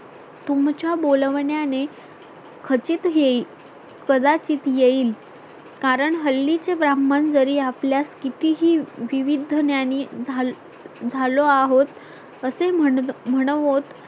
तुमच्या बोलवण्याने खचित येई कदाचित येईल कारण हल्लीचे ब्राह्मण जरी आपल्यास कितीही विविध ज्ञानी झालो आहोत असे म्हनोत